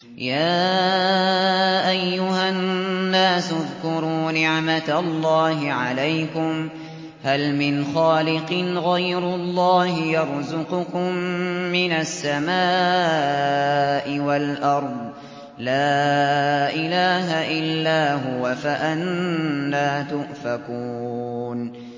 يَا أَيُّهَا النَّاسُ اذْكُرُوا نِعْمَتَ اللَّهِ عَلَيْكُمْ ۚ هَلْ مِنْ خَالِقٍ غَيْرُ اللَّهِ يَرْزُقُكُم مِّنَ السَّمَاءِ وَالْأَرْضِ ۚ لَا إِلَٰهَ إِلَّا هُوَ ۖ فَأَنَّىٰ تُؤْفَكُونَ